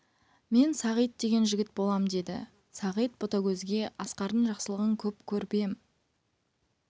мен сағит деген жігіт болам деді сағит ботагөзге асқардың жақсылығын көп көріп ем